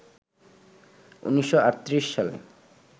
১৯৩৮ সালে